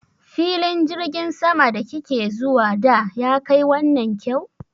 Filin jirgin saman da ki ke zuwa da ya kai wannan kyau?